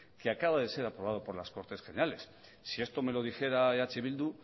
que acaba de ser aprobado por las cortes generales si esto me lo dijera eh bildu